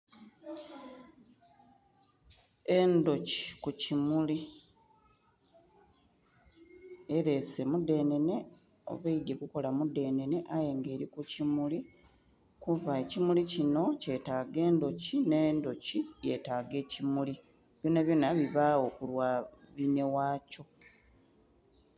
Endhoki ku kimuli elese mudhenene oba eidhye kukola mudhenene aye nga eri ku kimuli kuba ekimuli kinho kyetaga endhoki nhe endhoki yetaga ekimuli byona byona bibagho ku lwa binhe ghakyo.